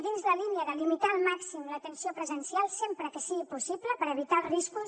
dins la línia de limitar al màxim l’atenció presencial sempre que sigui possible per evitar els riscos